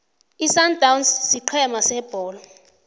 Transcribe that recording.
isundowns sigcema sebholo